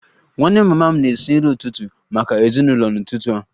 Nwanne mama m na-esi nri ụtụtụ maka ezinụlọ n'ụtụtụ a